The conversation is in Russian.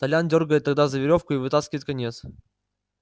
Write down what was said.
толян дёргает тогда за верёвку и вытаскивает конец